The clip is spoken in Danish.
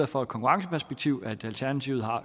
fra et konkurrenceperspektiv at alternativet har